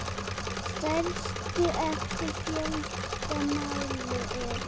Stærstu eftir fjölda mála eru